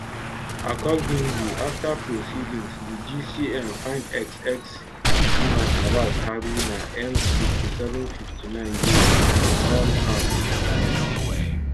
accordingly afta proceedings di gcm find ex ex seaman abbas haruna m5759 guilty on all counts um